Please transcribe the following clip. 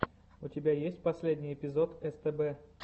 у тебя есть последний эпизод стб